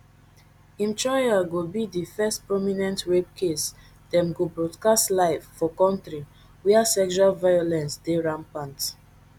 im trial go be di first prominent rape case dem go broadcast live for kontri wia sexual violence dey rampant